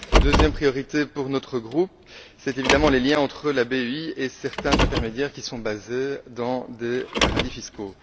Deuxième priorité pour notre groupe, c'est évidemment les liens entre la BEI et certains intermédiaires qui sont basés dans des paradis fiscaux.